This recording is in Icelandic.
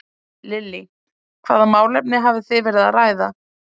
Lillý: Hvaða málefni hafið þið verið að ræða?